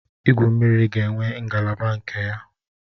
Igwu mmiri ga-enwe ngalaba nke ya